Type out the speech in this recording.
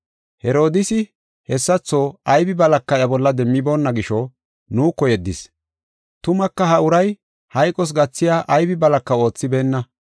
Herodiisi, hessatho aybi balaka iya bolla demmiboonna gisho nuuko yeddis. Tumaka ha uray hayqos gathiya aybi balaka oothibeenna.